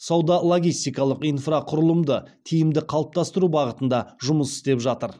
сауда логистикалық инфрақұрылымды тиімді қалыптастыру бағытында жұмыс істеп жатыр